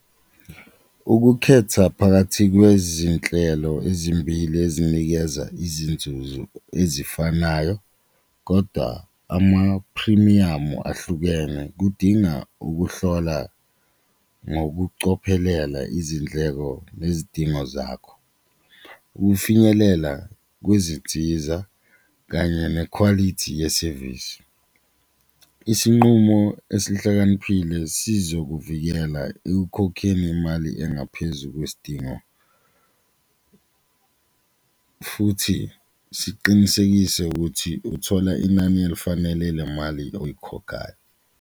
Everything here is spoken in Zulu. Ukukhetha phakathi kwezinhlelo ezimbili ezinikeza izinzuzo ezifanayo kodwa amaphrimiyamu ahlukene kudinga ukuhlola ngokucophelela izindleko nezidingo zakho, ukufinyelela kwezinsiza kanye nekhwalithi yesevisi. Isinqumo esihlakaniphile sizokuvikela ekukhokheni imali engaphezu kwesidingo futhi siqinisekise ukuthi uthola inani elifanele le mali oyikhokhayo.